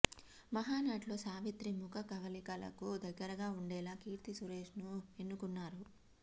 మహానటిలో సావిత్రి ముఖ కవళికలకు దగ్గరగా వుండేలా కీర్తి సురేష్ను ఎన్నుకున్నారు